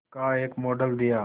का एक मॉडल दिया